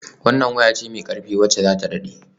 Wannan waya ce mai ƙarfi wacce za ta daɗe.